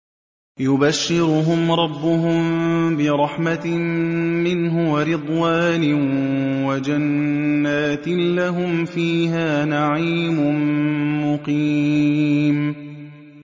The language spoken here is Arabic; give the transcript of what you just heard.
يُبَشِّرُهُمْ رَبُّهُم بِرَحْمَةٍ مِّنْهُ وَرِضْوَانٍ وَجَنَّاتٍ لَّهُمْ فِيهَا نَعِيمٌ مُّقِيمٌ